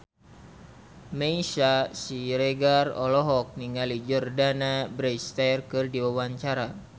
Meisya Siregar olohok ningali Jordana Brewster keur diwawancara